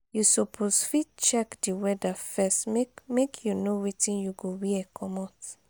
you suppose fit check di weather first make make you know wetin you go wear comot.